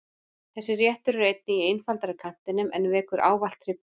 Þessi réttur er einnig í einfaldari kantinum en vekur ávallt hrifningu.